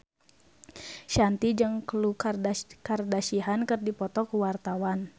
Shanti jeung Khloe Kardashian keur dipoto ku wartawan